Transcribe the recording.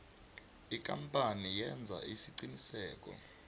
ikampani yenza isiqiniseko